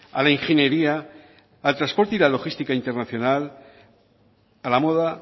a la ingeniería al transporte y a la logística internacional a la moda